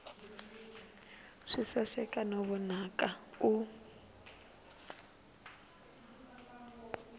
swi saseka no vonaka u